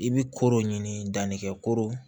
I bɛ koro ɲini danni kɛ kooro